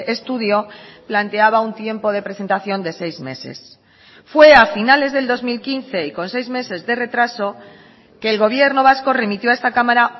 estudio planteaba un tiempo de presentación de seis meses fue a finales del dos mil quince y con seis meses de retraso que el gobierno vasco remitió a esta cámara